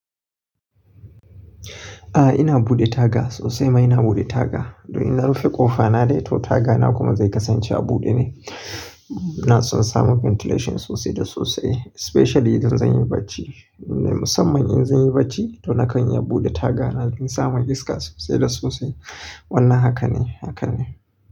A'a ina buɗe taga sosai ma ina buɗe taga. Don inna rufe ƙofa na dai to taga na kuma zai kasance a buɗe ne. Na tsonsa sama ventilation sosai da sosai especially idan zan yi bacci. Musamman in zan yi bacci to nakan yi a buɗe taga na don in samu iska sosai da sosai. Wannan haka ne, haka ne.